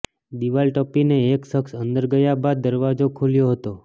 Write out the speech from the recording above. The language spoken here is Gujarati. દિવાલ ટપીને એક શખસ અંદર ગયા બાદ દરવાજો ખોલ્યો હતો